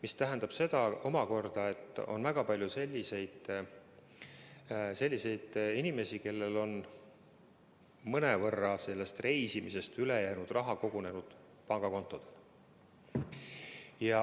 See tähendab omakorda seda, et on väga palju selliseid inimesi, kellel on reisimisest üle jäänud raha kogunenud pangakontodele.